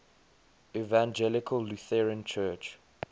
evangelical lutheran church